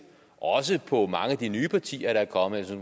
på mange af de nye partier der er kommet jeg